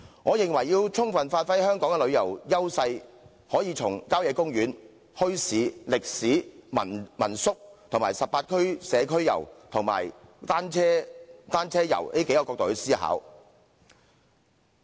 我認為要充分發揮香港的旅遊優勢，可以從郊野公園、墟市、歷史、民宿、18區社區遊和單車遊的角度來思考。